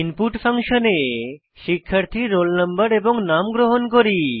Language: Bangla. ইনপুট ফাংশনে শিক্ষার্থীর roll no এবং নাম গ্রহণ করি